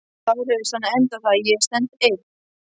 LÁRUS: Þannig endar það: Ég stend einn!